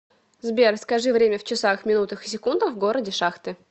сбер скажи время в часах минутах и секундах в городе шахты